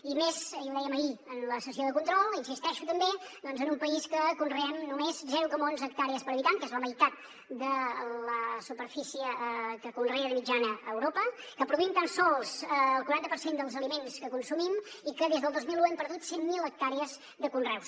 i més i ho dèiem ahir en la sessió de control hi insisteixo també en un país que conreem només zero coma onze hectàrees per habitant que és la meitat de la superfície que conrea de mitjana europa que produïm tan sols el quaranta per cent dels aliments que consumim i que des del dos mil un hem perdut cent mil hectàrees de conreus